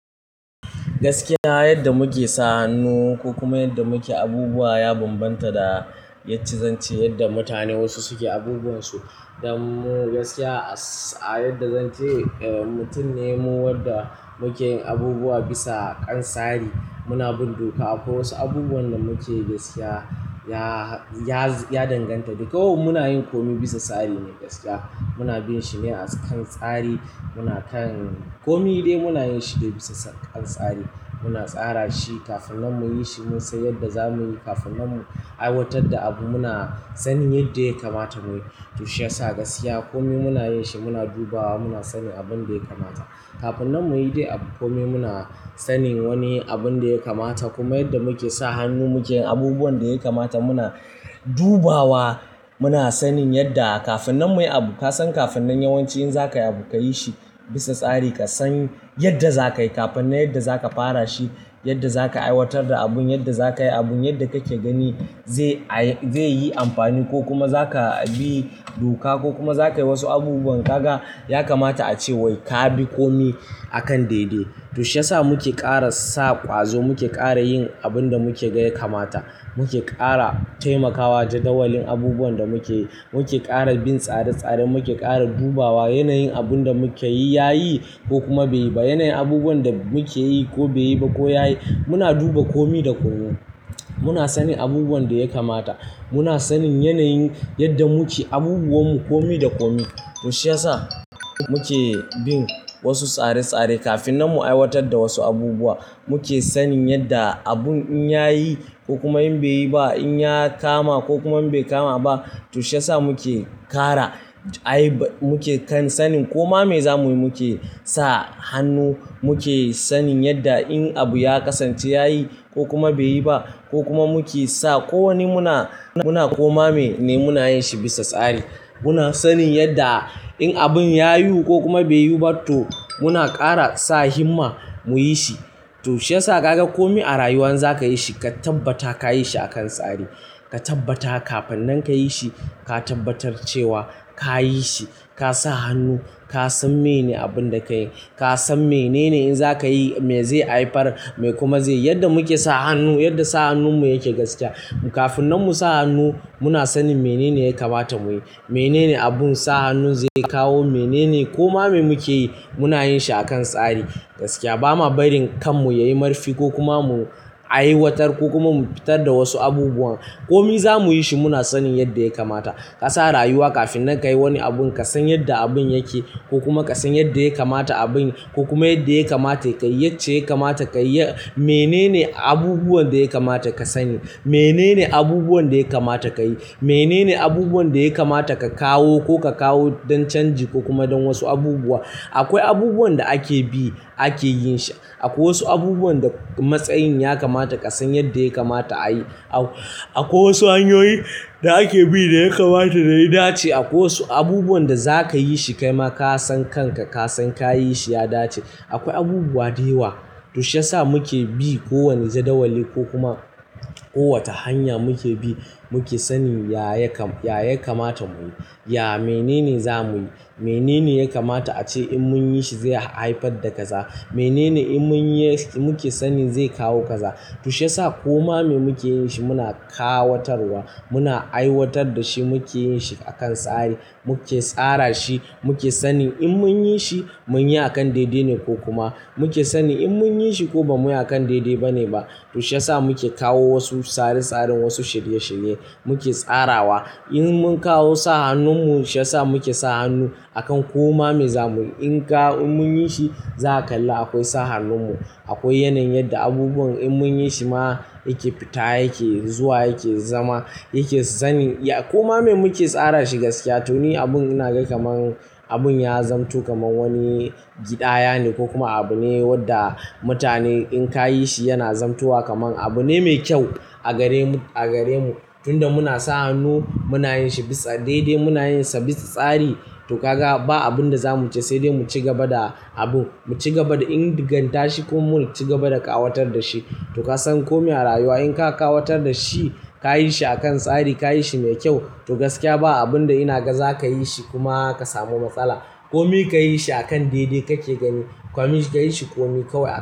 Gaskiya yadda muke sa hannu ko kuma yadda muke abubuwa ya bambanta da yacce zan ce yadda mutane wasu suke abubuwansu. Dan mu gaskiya a yadda zan ce mutum ne mu wadda muke yin abubuwa bisa kan tsari muna bin doka. Akwai wasu abubuwan da muke gaskiya ya danganta. Kawai muna yin kome bisa tsari ne gaskiya. Muna bin shi ne akan tsari. Muna kan kome dai muna yin shi dai bisa kan tsari. Muna tsara shi kafinan muyi shi mun san yadda zamuyi. Kafinan mu aiwatar da abu muna sanin yadda ya kamata muyi. To shi yasa gaskiya kome muna yin shi muna dubawa muna sanin abin da ya kamata. Kafin nan muyi dai abu kome muna sanin wani abin da ya kamata kuma yadda muke sa hannu muke yin abubuwan da ya kamata muna dubawa muna sanin yadda kafinan muyi abu, kasan kafinan yawanci in zaka yi abu kayi shi bisa tsari kasan yadda zakayi kafinan yadda zaka fara shi, yadda zaka aiwatar da abun, yadda zaka yi abun, yadda kake gani zai yi amfani ko kuma zaka bi doka ko kuma zaka yi wasu abubuwan. Kaga ya kamata ace wai ka bi kome akan daidai. To shi yasa muke kara sa ƙwazo muke kara yin abun da muke ga ya kamata. Muke kara taimakawa jadawalin abubuwan da muke yi. Muke kara bin tsare-tsaren, muke kara dubawa yanayin abun da muka yi yayi ko kuma bai yi ba. Yanayin abubuwan da muke yi ko bai yi ba ko yayi muna duba kome da kome. Muna sanin abubuwan da ya kamata. Muna sanin yanayin yadda muke abubuwanmu kome da kome to shi yasa muke bin wasu tsare-tsare kafin nan mu aiwatar da wasu abubuwa. Muke sanin yadda abun in yayi ko kuma in bai yi ba, in ya kama ko kuma in bai kama ba. To shi yasa muke kara ai muke kan sanin koma me zamuyi muke sa hannu muke sanin yadda in abu ya kasance yayi ko kuma bai yi ba ko kuma muke sa ko wani muna koma me ne muna yin shi bisa tsari. Muna sanin yadda in abun yayi ko kuma bai yi ba to muna kara sa himma muyi shi. To shi yasa ka ga kome a rayuwa in zaka yi shi ka tabbata kayi shi akan tsari. Ka tabbata kafinan kayi shi ka tabbatar cewa kayi shi. Ka sa hannu. Ka san mene ne abin da kayi. Ka san mene ne in zaka yi me zai haifar me kuma zai. Yadda muke sa hannu, yadda sa hannun mu yake gaskiya. Kafinan mu sa hannu muna sanin menene ya kamata muyi. Menene abun sa hannun zai kawo, menene koma me muke yi muna yin shi akan tsari gaskiya. Bama barin kanmu yayi marfi ko kuma mu aiwatar ko kuma mu fitar da wasu abubuwan. Kome zamuyi shi muna sanin yadda ya kamata. Ka san rayuwa kafin nan kayi wani abun ka san yadda abun yake ko kuma ka san yadda ya kamata abun ko kuma yadda ya kamata tahi yacce ya kamata kayi. Menene abubuwan da ya kamata ka sani. Mene ne abubuwan da yake kamata kayi. Mene ne abubuwan da yake kamata ka kawo ko ka kawo don canji ko kuma don wasu abubuwa. Akwai abubuwan da ake bi ake yin shi. Akwai wasu abubuwan da matsayin ya kamata ka san yadda ya kamata a yi. Akwai wasu hanyoyi da ake bi da ya kamata da ya dace. Akwai wasu abubuwan da zaka yi shi kai ma kasan kanka kasan ka yi shi ya dace. Akwai abubuwa da yawa. To shi yasa muke bi kowanne jadawali ko kuma ko wate hanya muke bi muke sanin ya kamata muyi. Ya menene za muyi. Mene ne ya kamata ace in mun yi shi zai haifar da kaza. Menene in mun yi shi muke sanin zai kawo kaza. To shi yasa koma me muke yin shi muna kawatarwa muna aiwatar da shi muke yin shi akan tsari. Muke tsara shi muke sanin in mun yi shi mun yi akan daidai ne ko kuma muke sanin in mun yi shi ko bamu yi akan daidai bane ba. Toshe yasa muke kawo wasu tsare tsarin wasu shirye shirye muke tsarawa. In mun kawo sa hannun mu shi yasa muke sa hannu akan koma me za muyi. In mun yi shi za a kalla akwai sa hannun mu. Akwai yanayin yadda abubuwan in mun yi shi ma yake fita yake zuwa yake zama yake sanin ya koma me muke tsara shi gaskiya. To ni abun ina ga kamar abun ya zamto kamar wani gida ya ne ko kuma abu ne wadda mutane in ka yi shi yana zamtowa kamar abu ne mai kyau a gare mu a gare mu. Tun da muna sa hannu muna yin shi bisa daidai muna yin sa bisa tsari to kaga ba abun da za mu ce sai dai mu cigaba da abun. Mu ci gaba da inganta shi ko mu cigaba da ƙawatar da shi. To ka san kome a rayuwa in ka ƙawatar da shi ka yi shi akan tsari ka yi shi mai kyau to gaskiya ba abun da ina ga za ka yi shi kuma ka samu matsala. Kome ka yi shi akan daidai kake gani. Kome ka yi shi kome kawai.